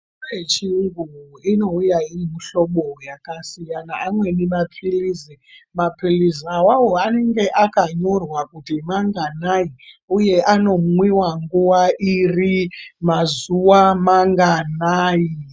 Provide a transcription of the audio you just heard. Mitombo yechiyungu inouya iri mihlobo yakasiyana, amweni maphilizi. Maphilizi awawo anenge akanyorwa kuti manganai, uye anomwiwa nguwa iri, mazuwa manganai.